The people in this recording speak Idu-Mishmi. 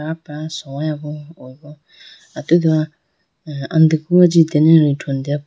soyabo atudu andiku ajitene rethune deyapo.